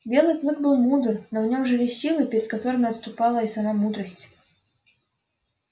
белый клык был мудр но в нём жили силы перед которыми отступала и сама мудрость